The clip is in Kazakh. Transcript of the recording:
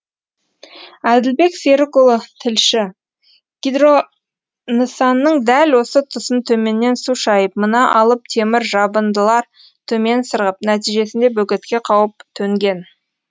әділбек серікұлы тілші гидро нысанның дәл осы тұсын төменнен су шайып мына алып темір жабындылар төмен сырғып нәтижесінде бөгетке қауіп төнген